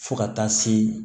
Fo ka taa se